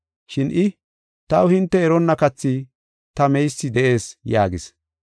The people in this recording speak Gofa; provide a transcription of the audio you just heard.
Shin I, “Taw hinte eronna kathi ta meysi de7ees” yaagis.